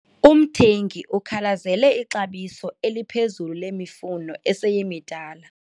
Umthengi ukhalazele ixabiso eliphezulu lemifuno eseyimidala.